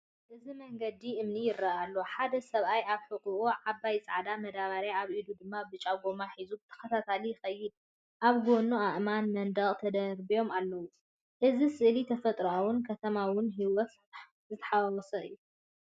እዚ መንገዲ እምኒ ይረአ ኣሎ። ሓደ ሰብኣይ ኣብ ሕቖኡ ዓባይ ጻዕዳ መዳበርያ ኣብ ኢዱ ድማ ብጫ ጎማ ሒዙ ብተኸታታሊ ይኸይድ። ኣብ ጎኑ ኣእማን መንደቕ ተደራሪቡ ኣሎ፣ እዚ ስእሊ ተፈጥሮን ከተማዊ ህይወትን ዝተሓዋወሰ እዩ።